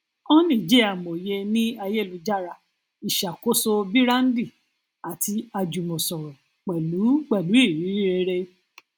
honey jẹ amòye ní ayélujára ìṣàkóso bííràndì àti ajùmòsòrò pẹlú pẹlú irírí rere